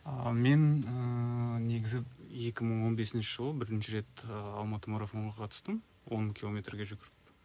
ааа мен ыыы негізі екі мың он бесінші жылы бірінші рет алматы марафонына қатыстым он километрге жүгіріп